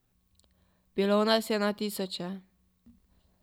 Bilo nas je na tisoče...